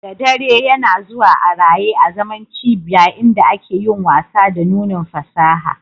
Da dare, yana zuwa a raye azaman cibiya inda ake yin wasa da nunin fasaha